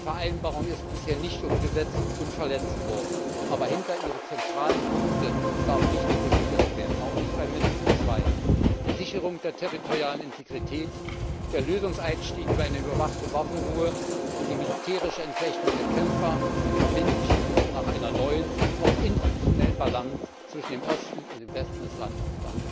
Die Vereinbarung ist bisher nicht umgesetzt, sondern verletzt worden, aber hinter ihre zentralen Punkte darf nicht zurückgegangen werden, auch nicht bei Minsk 2 die Sicherung der territorialen Integrität, der Lösungseinstieg über eine überwachte Waffenruhe und die militärische Entflechtung der Kämpfer, die verbindliche Suche nach einer neuen, auch institutionellen Balance zwischen dem Osten und dem Westen des Landes.